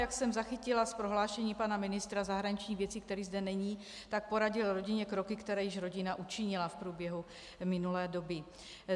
Jak jsem zachytila z prohlášení pana ministra zahraničních věcí, který zde není, tak poradil rodině kroky, které již rodina učinila v průběhu minulé doby.